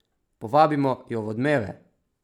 Povabimo jo v Odmeve!